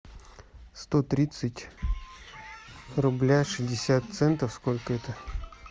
сто тридцать рубля шестьдесят центов сколько это